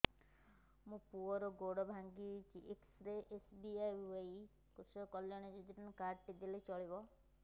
ମୋ ପୁଅର ଗୋଡ଼ ଭାଙ୍ଗି ଯାଇଛି ଏ କେ.ଏସ୍.ବି.ୱାଇ କୃଷକ କଲ୍ୟାଣ ଯୋଜନା କାର୍ଡ ଟି ଦେଲେ ଚଳିବ